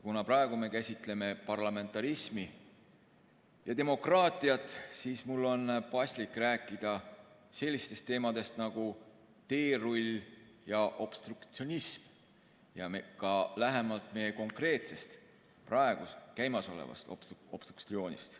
Kuna praegu me käsitleme parlamentarismi ja demokraatiat, siis on mul paslik rääkida sellistest teemadest nagu teerull ja obstruktsionism, ja ka lähemalt meie konkreetsest, praegu käimasolevast obstruktsioonist.